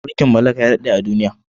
Mulkin mallaka ya daɗe a duniya.